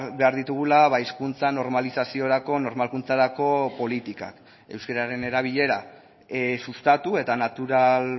behar ditugula hizkuntza normalizaziorako normalkuntzarako politikak euskararen erabilera sustatu eta natural